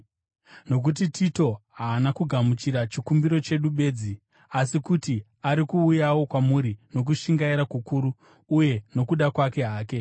Nokuti Tito haana kugamuchira chikumbiro chedu bedzi, asi kuti ari kuuyawo kwamuri nokushingaira kukuru uye nokuda kwake hake.